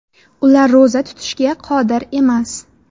Ular ro‘za tutishga qodir emas.